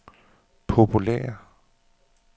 populære